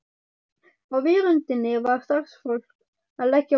Á veröndinni var starfsfólk að leggja á borð.